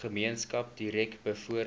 gemeenskap direk bevoordeel